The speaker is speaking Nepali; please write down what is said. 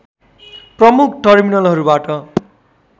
प्रमुख टर्मिनलहरूबाट